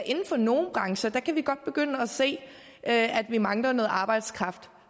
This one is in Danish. inden for nogle brancher kan vi godt begynde at se at vi mangler arbejdskraft og